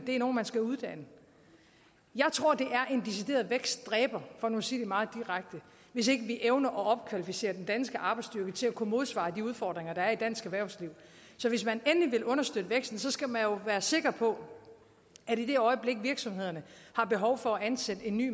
det er nogen man skal uddanne jeg tror at vækstdræber for nu at sige det meget direkte hvis ikke vi evner at opkvalificere den danske arbejdsstyrke til at kunne modsvare de udfordringer der er i dansk erhvervsliv så hvis man endelig vil understøtte væksten skal man jo være sikker på at vi i det øjeblik virksomhederne har behov for at ansætte en ny